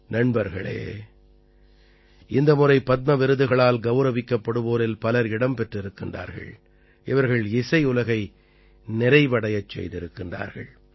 நண்பர்களே இந்த முறை பத்ம விருதுகளால் கௌரவிக்கப்படுவோரில் பலர் இடம் பெற்றிருக்கிறார்கள் இவர்கள் இசையுலகை நிறைவடையச் செய்திருக்கிறார்கள்